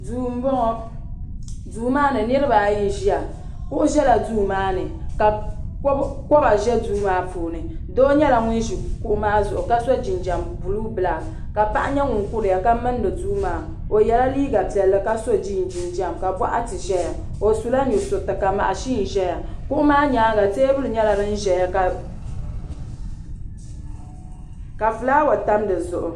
duu n bɔŋɔ duu maa ni niraba ayi n ʒiya kuɣu ʒɛla duu maa ni ka koba ʒɛ duu maa puuni doo nyɛla ŋun ʒi kuɣu maa zuɣu ka so jinjɛm buluu bilak ka paɣa nyɛ ŋun kuriya ka mindi duu maa o yɛla liiga piɛlli ka so jiiin jinjɛm ka boɣati ʒɛya o sula nusuriti ka mashin ʒɛya kuɣu maa nyaanga teebuli nyɛla din ʒɛya ka fulaawa tam dizuɣu